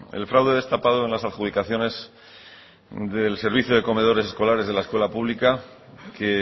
el fraude destapado en las adjudicaciones del servicio de comedores escolares de la escuela pública que